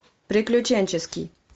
приключенческий